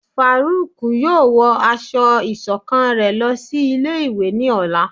Faruk yóò wọ asọ iṣọkan rẹ lòsí ilé ìwé ní Ọla